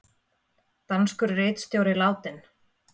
Danskur ritstjóri látinn